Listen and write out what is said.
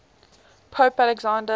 pope alexander